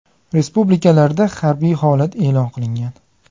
Respublikalarda harbiy holat e’lon qilingan.